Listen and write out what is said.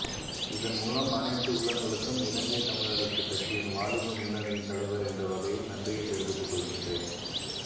இதன்மூலம் அனைத்து உள்ளங்களுக்கும் இலங்கை தமிழரசுக் கட்சியின் வாலிப முன்னணியின் தலைவர் என்ற வகையில் நன்றியைத் தெரிவித்துக்கொள்கின்றேன்